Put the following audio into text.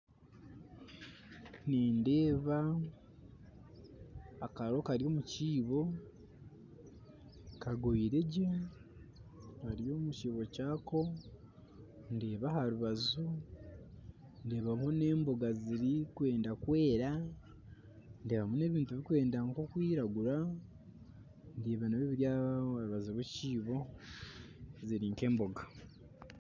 Nindeeba akaro Kari omukiibo kagoyire gye Kari omukiibo kyako ndeeba aha rubaju ndeeba n'emboga zirikwenda kwera ndeebamu n'ebintu birikwenda kwiragura ebyo nabyo biri aha rubaju rwekiibo ziri nk'emboga